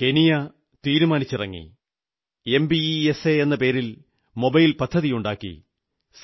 Kenya തീരുമാനിച്ചിറങ്ങി M P E S A എന്ന പേരിൽ മൊബൈൽ പദ്ധതിയുണ്ടാക്കി